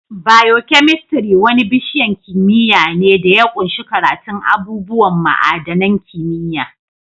Biokemistri wani bishiyan kimiyya ne da ya ƙunshi karatun abubuwan ma'adanin kimiyya.